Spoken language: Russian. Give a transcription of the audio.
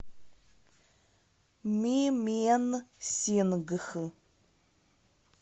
мименсингх